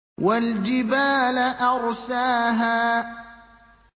وَالْجِبَالَ أَرْسَاهَا